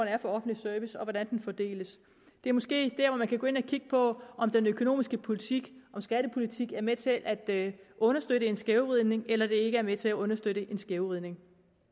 er for offentlig service og hvordan den fordeles det er måske der hvor man kan gå ind og kigge på om den økonomiske politik og skattepolitik er med til at understøtte en skævvridning eller de ikke er med til at understøtte en skævvridning